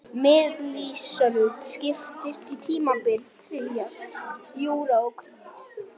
Miðlífsöld skiptist í tímabilin trías, júra og krít.